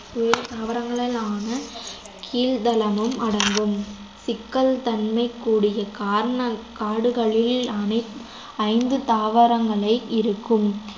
உயர் குறைந்த தாவரங்களான கீழ்தளமும் அடங்கும் சிக்கல்தன்மை கூடிய கான~ காடுகளில் அனைத்~ ஐந்து தாவரங்களே இருக்கும்